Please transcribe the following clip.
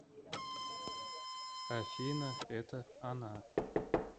афина это она